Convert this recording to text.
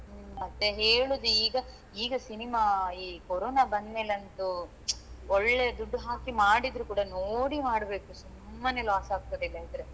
ಹ್ಮ್ ಮತ್ತೆ ಹೇಳುದು ಈಗ ಈಗ cinema ಈ ಕೊರೋನಾ ಬಂದ್ಮೇಲಂತು ಒಳ್ಳೇ ದುಡ್ಡು ಹಾಕಿ ಮಾಡಿದ್ರೆ ಕೂಡ ನೋಡಿ ಮಾಡ್ಬೇಕು ಸುಮ್ಮನೆ loss ಆಗ್ತದೆ ಇಲ್ಲದಿದ್ರೆ.